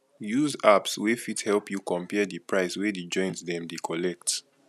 use apps wey fit help you compare di price wey di joints dem dey collect